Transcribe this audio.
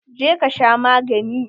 Je ka sha magani!